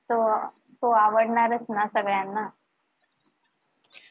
तो तो अह आवडणारच ना सगळ्यांना